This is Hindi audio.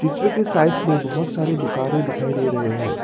पिक्चर के साइड मे बहुत सारे दुकाने दिखाई दे रहे है।